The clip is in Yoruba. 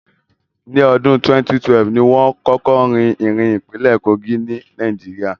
Ní ọdún 2012, ni wón kọ́kọ́ rí irin ní ìpínlẹ̀ Kogí, ní Nàìjíríà